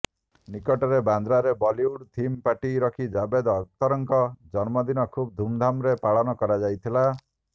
ନିକଟରେ ବାନ୍ଦ୍ରାରେ Bollywood theme party ରଖି ଜାଭେଦ ଅଖତରଙ୍କ ଜନ୍ମଦିନ ଖୁବ ଧୁମଧାମରେ ପାଖନ କରାଯାଇଥିଲା